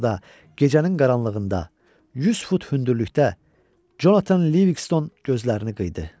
Orda gecənin qaranlığında, 100 fut hündürlükdə Conatan LiVikston gözlərini qıyıda.